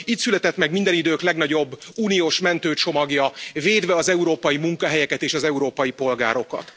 Itt született meg minden idők legnagyobb uniós mentőcsomagja, védve az európai munkahelyeket és az európai polgárokat.